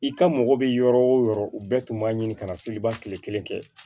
I ka mɔgɔ bɛ yɔrɔ o yɔrɔ u bɛɛ tun b'a ɲini ka na seliba kile kelen kɛ